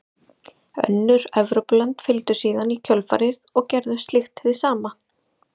Önnur Evrópulönd fylgdu síðan í kjölfarið og gerðu slíkt hið sama.